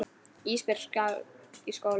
Ísbjörg skal í skóla.